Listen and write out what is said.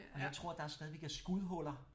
Og jeg tror der stadigvæk er skudhuller